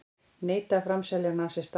Neita að framselja nasista